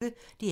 DR P1